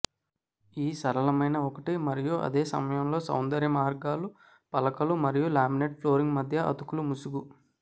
ఈ సరళమైన ఒకటి మరియు అదే సమయంలో సౌందర్య మార్గాలు పలకలు మరియు లామినేట్ ఫ్లోరింగ్ మధ్య అతుకులు ముసుగు